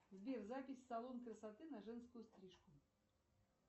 сбер запись в салон красоты на женскую стрижку